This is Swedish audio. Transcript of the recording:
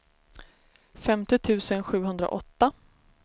femtio tusen sjuhundraåtta